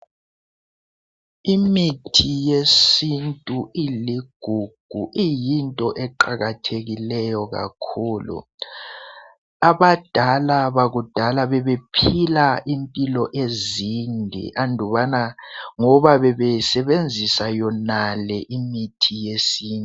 Imithi yesintu iligugu iyinto eqakathekileyo kakhulu. Abadala bakudala bebephila impilo ezinde andubana ngoba bebesebenzisa yonale imithi yesintu.